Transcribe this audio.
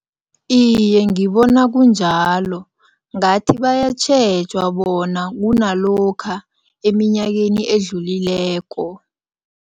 Iye, ngibona kunjalo. Ngathi bayatjhejwa bona kunalokha eminyakeni edlulileko.